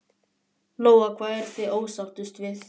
Lóa: Hvað eruð þið ósáttust við?